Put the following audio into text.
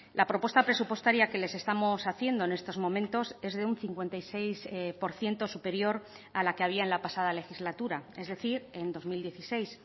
la propuesta presupuestaria que les estamos haciendo en estos momentos es de un cincuenta y seis por ciento superior a la que había en la pasada legislatura es decir en dos mil dieciséis